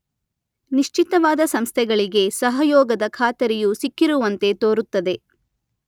ನಿಶ್ಚಿತವಾದ ಸಂಸ್ಥೆಗಳಿಗೆ ಸಹಯೋಗದ ಖಾತರಿಯು ಸಿಕ್ಕಿರುವಂತೆ ತೋರುತ್ತದೆ.